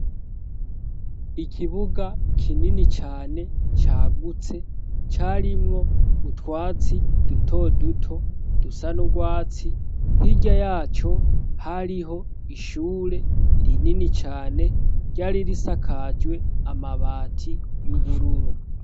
Ikibuga kinini cane cagutse carimwo utwatsi duto duto, dusa n'urwatsi, hirya yaco hariho ishure rinini cane, ryari risakajwe amabati y'ubururu.